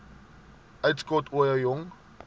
uitskot ooie jong